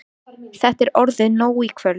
Þetta er orðið nóg í kvöld.